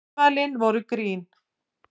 Ummælin voru grín